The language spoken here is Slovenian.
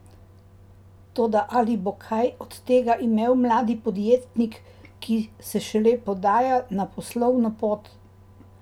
Toda ali bo kaj od tega imel mladi podjetnik, ki se šele podaja na poslovno pot?